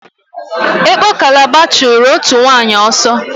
Ekpo Kalaba chụrụ òtù nwaanyị ọsọ.